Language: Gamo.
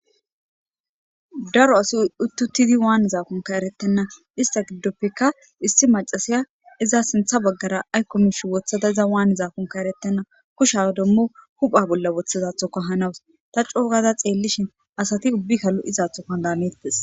Daro asi uttutidi waani zaakunka eretenna ista giddoppeka issi macasiya iza sintha baggara aykomish wothada iza waan zaakunka eretena kusha dommo hupha bolla woththizathoka hanawus ta coogada xeellishin asati ubbikalu izathoka daneetes.